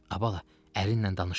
Ay bala, əlinlə danışdınmı?